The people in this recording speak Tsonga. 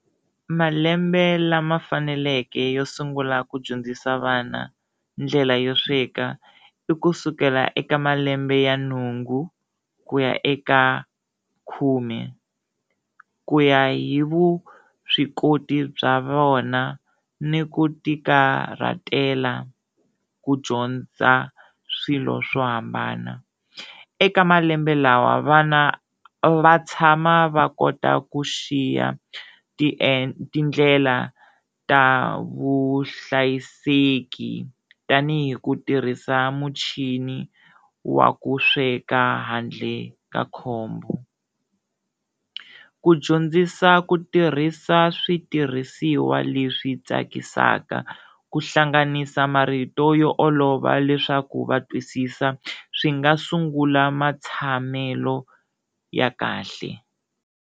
Malembe lama faneleke yo sungula ku dyondzisa vana ndlela yo sweka i kusukela eka malembe ya nhungu ku ya eka khume ku ya hi vuswikoti bya vona ni ku tikarhatela ku dyondza swilo swo hambana. Eka malembe lawa vana va tshama va kota ku xiya tindlela ta vuhlayiseki tanihi ku tirhisa muchini wa ku sweka handle ka khombo, ku dyondzisa ku tirhisa switirhisiwa leswi tsakisaka ku hlanganisa marito yo olova leswaku va twisisa swi nga sungula matshamelo ya kahle.